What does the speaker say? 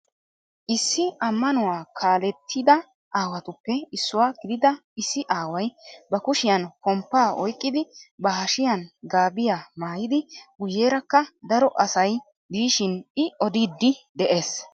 Issi ammanuwaa kallettida aawatuppe issuwaa gidida issi aaway ba kushshiyaan pomppaa oyqqidi ba hashshiyaan gaabiyaa maayidi guyeeraka daro asay diishshin i odiidi de'ees.